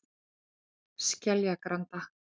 Skeljagranda